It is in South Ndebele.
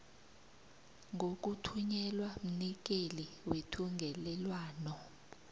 ngokuthunyelwa mnikeli wethungelelwano